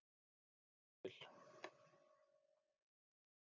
Ég vil